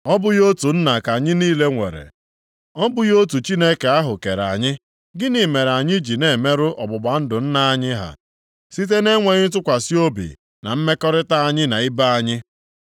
Ọ bụghị otu Nna ka anyị niile nwere? Ọ bụghị otu Chineke ahụ kere anyị? Gịnị mere anyị ji na-emerụ ọgbụgba ndụ nna anyị ha site na-enweghị ntụkwasị obi na mmekọrịta anyị na ibe anyị?